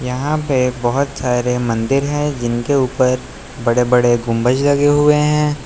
यहां पे बहुत सारे मंदिर हैं जिनके ऊपर बड़े बड़े गुंबज लगे हुए हैं।